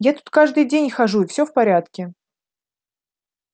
я тут каждый день хожу и все в порядке